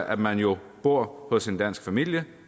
at man jo bor hos en dansk familie